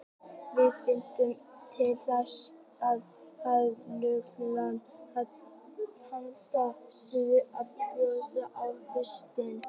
Við vitum til dæmis að farfuglarnir halda suður á bóginn á haustin.